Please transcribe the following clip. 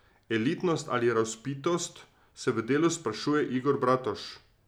Elitnost ali razvpitost, se v Delu sprašuje Igor Bratož.